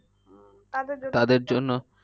তাদের